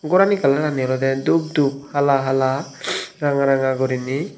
gorani kalarani olode dup dup hala hala ranga ranga gurinei.